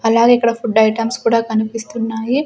అలాగే ఇక్కడ food items కూడా కనిపిస్తున్నాయి.